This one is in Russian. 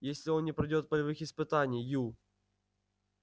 если он не пройдёт полевых испытаний ю